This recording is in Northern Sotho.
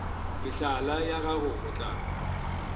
mehlala ya gago go tla